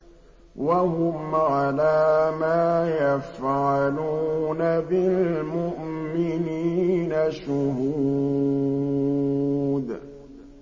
وَهُمْ عَلَىٰ مَا يَفْعَلُونَ بِالْمُؤْمِنِينَ شُهُودٌ